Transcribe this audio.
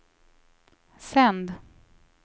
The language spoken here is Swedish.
sänd